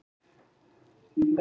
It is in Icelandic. Sambúð krefst samvinnu.